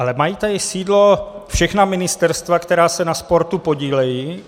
Ale mají tady sídlo všechna ministerstva, která se na sportu podílejí.